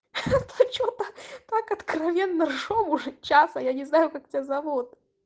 ха-ха а что-то так откровенно смеёмся уже час а я не знаю как тебя зовут